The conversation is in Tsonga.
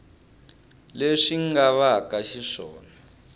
leswi nga va ka xiswona